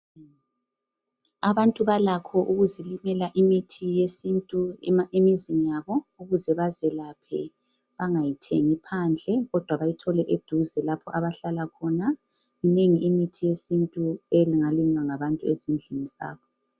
Abantu balakho ukuzilimela imithi yesintu emizini yabo ukuze bezelaphe bangayi thengi phandle kodwa bayithole eduze lapho abahlala khona. Minengi imithi yesintu engalinywa ngabantu ezindlini zabo.